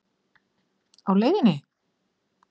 Á LEIÐINNI?